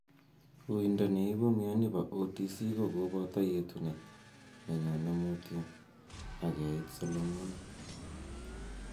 Uindo neipu mioni po OTC ko kopoto yetunet ne nyone mutyo, ag keit solomonik.